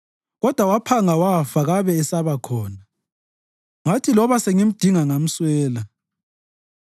kodwa waphanga wafa kabe esabakhona; ngathi loba sengimdinga ngamswela.